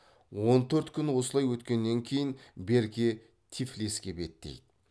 он төрт күн осылай өткеннен кейін берке тифлиске беттейді